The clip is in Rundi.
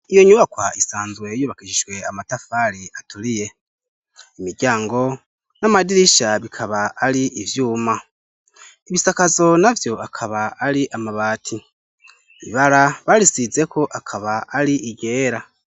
Iyo nyubakwa isanzwe yubakishishwe amatafari aturiye imiryango n'amadirisha bikaba ari ivyuma ibisakazo na vyo akaba ari amabati ibara barisizeko akaba ari igera.